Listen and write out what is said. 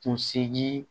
Kunsigi